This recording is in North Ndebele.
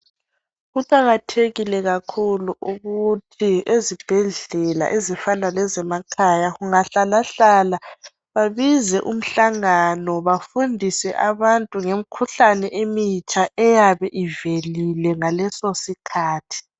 Kuqakathekike kakhulu ukuthi ezibhedlela ezifana lezemakhaya kungahlala hlala babize umhlangano bafundiswe abantu ngemikhuhlane emitsha eyabe ivelile ngaleso sikhathi